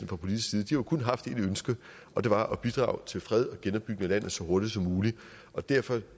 fra politisk side jo kun har haft et ønske og det var at bidrage til fred og genopbygning af landet så hurtigt som muligt derfor